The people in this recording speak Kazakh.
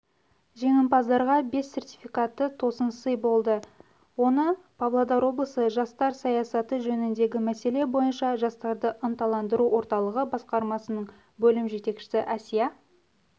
жеңімпаздарға бес сертификаты тосын сый болды оны павлодар облысы жастар саясаты жөніндегі мәселе бойынша жастарды ынталандыру орталығы басқармасының бөлім жетекшісі әсия